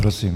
Prosím.